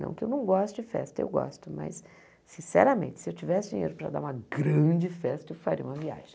Não que eu não goste de festa, eu gosto, mas, sinceramente, se eu tivesse dinheiro para dar uma grande festa, eu faria uma viagem.